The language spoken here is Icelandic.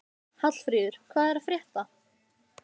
Hallfríður, hvað er að frétta?